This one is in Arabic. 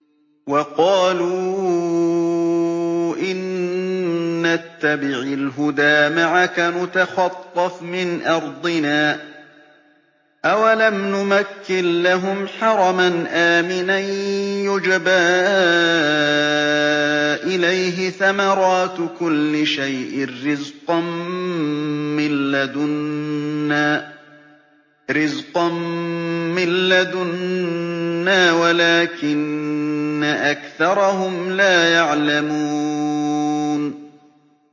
وَقَالُوا إِن نَّتَّبِعِ الْهُدَىٰ مَعَكَ نُتَخَطَّفْ مِنْ أَرْضِنَا ۚ أَوَلَمْ نُمَكِّن لَّهُمْ حَرَمًا آمِنًا يُجْبَىٰ إِلَيْهِ ثَمَرَاتُ كُلِّ شَيْءٍ رِّزْقًا مِّن لَّدُنَّا وَلَٰكِنَّ أَكْثَرَهُمْ لَا يَعْلَمُونَ